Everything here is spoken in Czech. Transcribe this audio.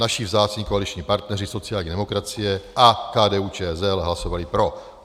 Naši vzácní koaliční partneři, sociální demokracie a KDU-ČSL, hlasovali pro.